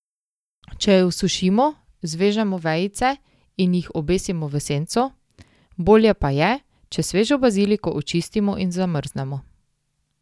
Če jo sušimo, zvežemo vejice in jih obesimo v senco, bolje pa je, če svežo baziliko očistimo in zamrznemo.